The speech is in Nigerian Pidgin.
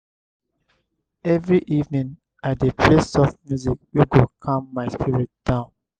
every evening i dey play soft music wey go calm my spirit down.